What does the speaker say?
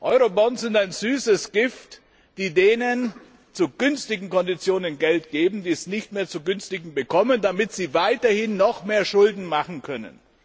Eurobonds sind ein süßes Gift, die denen zu günstigen Konditionen Geld geben, die es nicht mehr zu günstigen Konditionen bekommen, damit sie weiterhin noch mehr Schulden machen können.